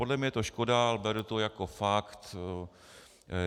Podle mě je to škoda, ale beru to jako fakt.